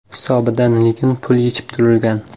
Hisobidan lekin pul yechib turilgan.